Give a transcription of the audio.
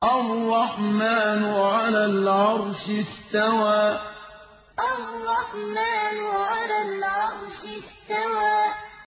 الرَّحْمَٰنُ عَلَى الْعَرْشِ اسْتَوَىٰ الرَّحْمَٰنُ عَلَى الْعَرْشِ اسْتَوَىٰ